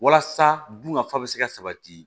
Walasa dun ka fa bɛ se ka sabati